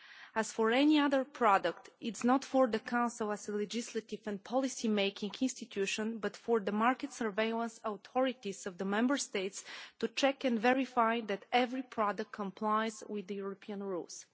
As for any other product, it is not for the Council as a legislative and policy making institution, but for the market surveillance authorities of the Member States to check and verify that every product complies with the European rules.